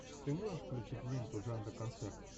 ты можешь включить ленту жанра концерт